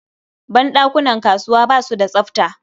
Ban ɗakunan kasuwa ba su da tsafta.